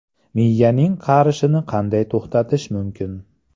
Miyaning qarishini qanday to‘xtatish mumkin?